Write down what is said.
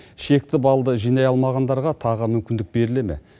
шекті балды жинай алмағандарға тағы мүмкіндік беріле ме